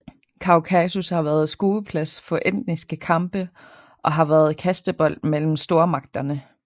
Kaukasus har været skueplads for etniske kampe og har været kastebold mellem stormagterne